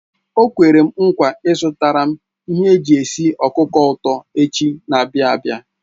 O kwere m nkwa izutaram ihe eji esi okuko uto echi n'abia abi